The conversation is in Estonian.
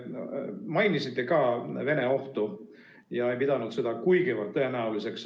Te mainisite ka Vene ohtu ega pidanud seda kuigi tõenäoliseks.